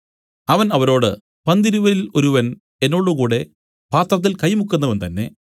അവൻ അവരോട് പന്തിരുവരിൽ ഒരുവൻ എന്നോടുകൂടെ പാത്രത്തിൽ കൈമുക്കുന്നവൻ തന്നേ